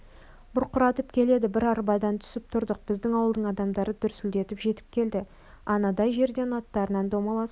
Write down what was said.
бұрқыратып келеді біз арбадан түсіп тұрдық біздің ауылдың адамдары дүрсілдетіп жетіп келді анадай жерден аттарынан домаласып